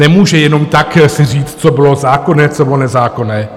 Nemůže jenom tak si říct, co bylo zákonné, co bylo nezákonné.